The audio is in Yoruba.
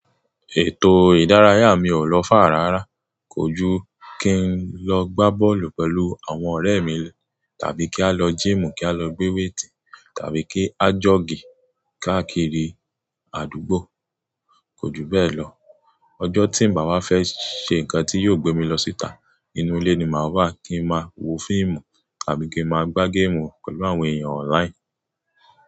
Ètò ìdárayá mi ò lo far rárá. Kò ju kí n lọ gbá bọ́ọ̀lù pẹ̀lú àwọn ọ̀rẹ́ mi tàbí kí a lọ gym kí a lọ gbé weight tàbí kí a jọ́ọ̀gì káàkiri àdúgbò. Kò ju bẹ́ẹ̀ lọ. Ọjọ́ tí n bàwá fẹ́ ṣe nǹkan tí yóò gbé mi lọ síta ínú ilé ni màá wá kí n máa wo fíìmù àbí kí n máa gbá game pẹ̀lú àwọn èèyàn online.